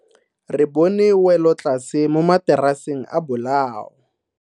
Re bone welotlase mo mataraseng a bolao.